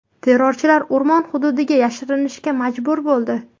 Terrorchilar o‘rmon hududiga yashirinishga majbur bo‘ldi.